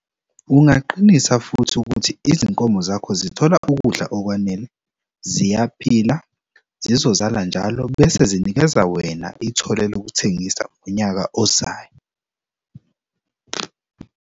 Ungaqinisa futhi ukuthi izinkomo zakho zithola ukudla okwanele, ziyaphila, zizozala njalo bese zinikeza wena ithole lokuthengisa ngonyaka ozayo.